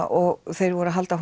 og þeir voru að halda